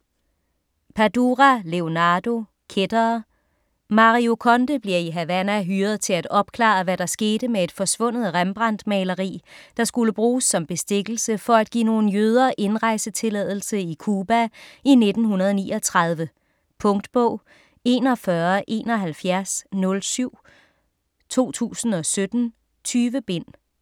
Padura, Leonardo: Kættere Mario Conde bliver i Havana hyret til at opklare, hvad der skete med et forsvundet Rembrandt-maleri, der skulle bruges som bestikkelse for at give nogle jøder indrejsetilladelse i Cuba i 1939. Punktbog 417107 2017. 20 bind.